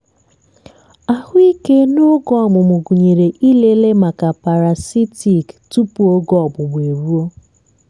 ahụike n'oge ọmụmụ gụnyere ịlele maka parasitic tupu oge ọgbụgba eruo.